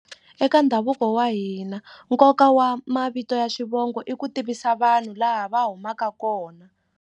Eka ndhavuko wa hina nkoka wa mavito ya xivongo i ku tivisa vanhu laha va humaka kona.